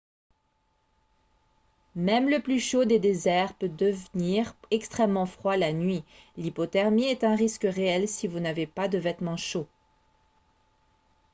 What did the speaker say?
même le plus chaud des déserts peut devenir extrêmement froid la nuit l'hypothermie est un risque réel si vous n'avez pas de vêtements chauds